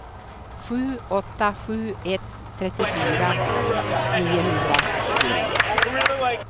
sju åtta sju ett trettiofyra niohundratjugonio